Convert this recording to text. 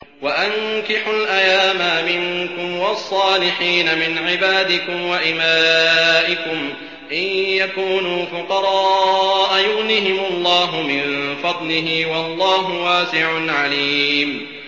وَأَنكِحُوا الْأَيَامَىٰ مِنكُمْ وَالصَّالِحِينَ مِنْ عِبَادِكُمْ وَإِمَائِكُمْ ۚ إِن يَكُونُوا فُقَرَاءَ يُغْنِهِمُ اللَّهُ مِن فَضْلِهِ ۗ وَاللَّهُ وَاسِعٌ عَلِيمٌ